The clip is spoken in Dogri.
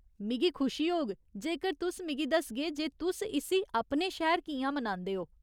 मिगी खुशी होग जेकर तुस मिगी दसगे जे तुस इस्सी अपने शैह्‌र कि'यां मनांदे ओ।